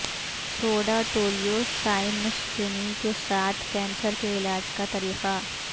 soda ٹولیو سائمنسکینی کے ساتھ کینسر کے علاج کا طریقہ